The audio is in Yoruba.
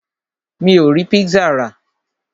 Mi ò rí pizza rà.